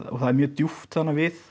það er mjög djúpt þarna við